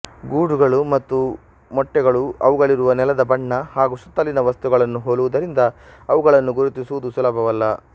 ಗೂಡುಗಳು ಮತ್ತು ಮೊಟ್ಟೆಗಳು ಅವುಗಳಿರುವ ನೆಲದ ಬಣ್ಣ ಹಾಗೂ ಸುತ್ತಲಿನ ವಸ್ತುಗಳನ್ನು ಹೋಲುವುದರಿಂದ ಅವುಗಳನ್ನು ಗುರುತಿಸುವುದು ಸುಲಭವಲ್ಲ